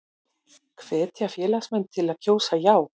Hvetja félagsmenn til að kjósa já